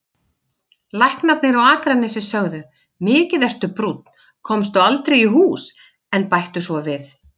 Læknarnir á Akranesi sögðu: Mikið ertu brúnn, komstu aldrei í hús, en bættu svo við